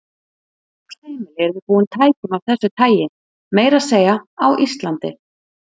Öll heimili yrðu búin tækjum af þessu tagi, meira að segja á Íslandi.